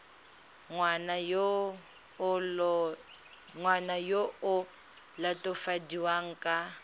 ngwana yo o latofadiwang ka